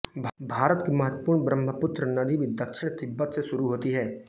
भारत की महत्वपूर्ण ब्रह्मपुत्र नदी भी दक्षिण तिब्बत से शुरू होती है